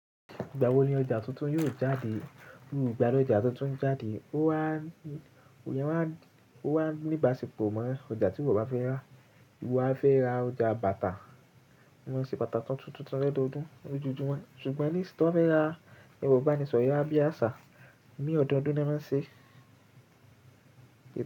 Ìgbà wo ni ọjà tuntun yóò jáde? Mi i gba lọjà to tun ń jáde. Ó wà n, iyen wà n, ó wà n níbàṣepọ̀ mọ ọjà tíwọ́ bá fẹ́ rà. Wan fẹ́ rà ọjà bàtà, wọ́n ṣe bàtà tuntun tuntun lodoọdún lójoojúmọ́. Ṣùgbọ́n nísinyi tọ́n bá fẹ́ rà, èrọ̀ ibánisọ̀rọ̀ yará bi àṣá ní ọdọọdún nọ́n máa ń ṣe.